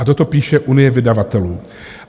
A toto píše Unie vydavatelů.